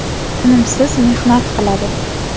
Tinimsiz mehnat qiladi.